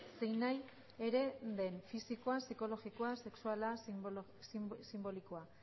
zein nahi ere den fisikoa psikologia sexuala sinbolikoa